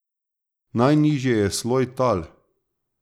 Najnižje je sloj tal.